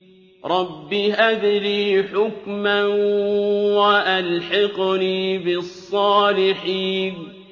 رَبِّ هَبْ لِي حُكْمًا وَأَلْحِقْنِي بِالصَّالِحِينَ